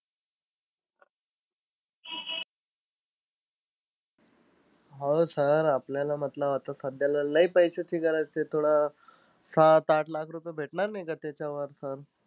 हो sir आपल्याला मतलबआता सध्याला लय पैशाची गरज आहे. थोडं सात-आठ लाख रुपये भेटणार नाही का त्याच्यावर sir?